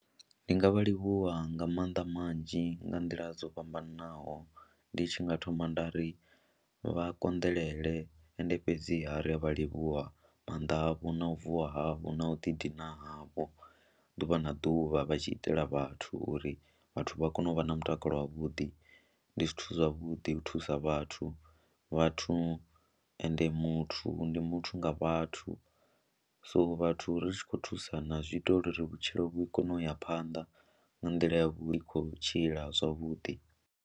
Ndi nga vha livhuwa nga maanḓa manzhi nga nḓila dzo fhambananaho ndi tshi nga thoma nda ri vha konḓelele ende fhedziha ri a vha livhuwa maanḓa havho na u vuwa havho na u ḓidina havho ḓuvha na ḓuvha vha tshi itela vhathu uri vhathu vha kone u vha na mutakalo wavhuḓi. Ndi zwithu zwavhuḓi u thusa vhathu vhathu ende muthu ndi muthu nga vhathu, so vhathu ri tshi khou thusana zwi ita uri ri vhutshilo vhu kone u ya phanḓa nga nḓila ya vhu i khou tshila zwavhuḓi.